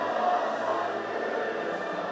Sənə qurban, Qarabağ!